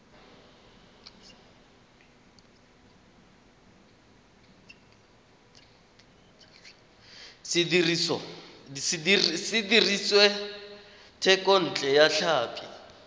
se dirisitswe thekontle ya tlhapi